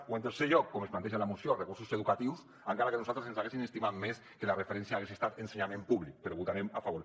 o en tercer lloc com es planteja en la moció recursos educatius encara que nosaltres ens haguéssim estimat més que la referència hagués estat ensenyament públic però hi votarem a favor